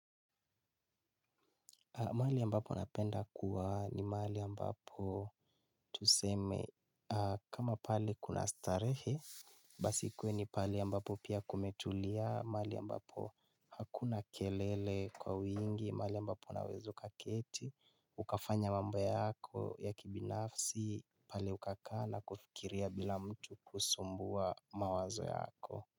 Mahali ambapo napenda kuwa ni mahali ambapo tuseme kama pale kuna starehe. Basi kuwe ni pahali ambapo pia kumetulia, mahali ambapo hakuna kelele kwa wingi, mahali ambapo unaweza ukaketi, ukafanya mambo yako ya kibinafsi, pale ukakaa na kufikiria bila mtu kusumbua mawazo yako.